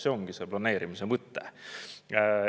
See ongi planeerimise mõte.